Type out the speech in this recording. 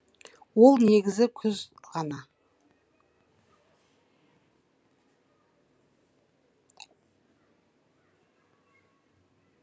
ол негізі күз ғана